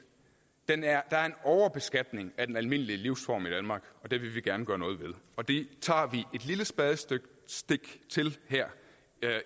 der er er en overbeskatning af den almindelige livsform i danmark og det vil vi gerne gøre noget ved og det tager vi et lille spadestik til her